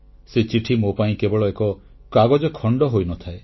ସେ ଚିଠି ମୋ ପାଇଁ କେବଳ ଏକ କାଗଜ ଖଣ୍ଡ ହୋଇନଥାଏ